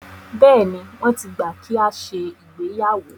Bẹ́ẹ̀ni, wọ́n ti gbà kí a ṣe ìgbéyàwó.